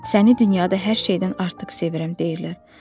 Səni dünyada hər şeydən artıq sevirəm deyirlər.